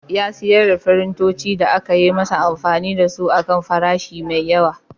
Ya sayar da firintocin da aka yi amfani da su a kan farashi mai yawa